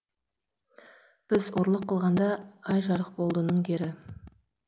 біз ұрлық қылғанда ай жарық болдының кері